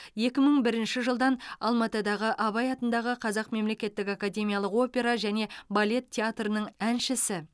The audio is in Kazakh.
екі мың бірінші жылдан алматыдағы абай атындағы қазақ мемлекеттік академиялық опера және балет театрының әншісі